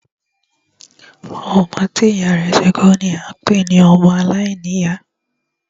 Ọmọ tí ìyá rẹ̀ ti kú ni a ń pé ní ọmọ aláìníyá.